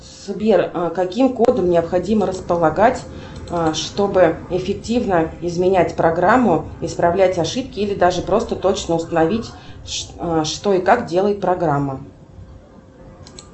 сбер каким кодом необходимо располагать чтобы эффективно изменять программу исправлять ошибки или даже просто точно установить что и как делает программа